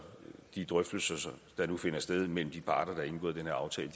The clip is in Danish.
de drøftelser der nu finder sted mellem de parter der har indgået den her aftale